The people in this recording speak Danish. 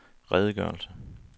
redegørelse